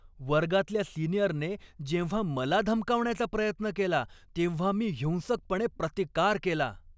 वर्गातल्या सिनियरने जेव्हा मला धमकावण्याचा प्रयत्न केला तेव्हा मी हिंसकपणे प्रतिकार केला.